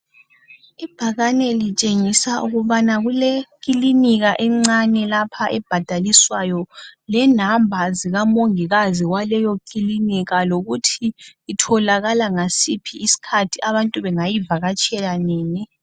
Ibhakaneni litshengisa ukubana kule kilinika encane lapha ebhadaliswayo lenamba zika mongikazi wayelo kilinika lokuthi itholakala ngasiphi isikhathi abantu bengayivakatshela nini.